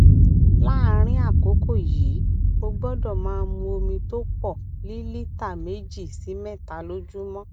láàárín àkókò yìí o gbódò máa mu omi tó pò lílíta méjì sí méta lójúmó